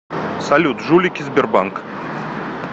салют жулики сбербанк